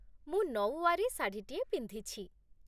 ମୁଁ ନଊୱାରୀ ଶାଢ଼ୀଟିଏ ପିନ୍ଧିଛି ।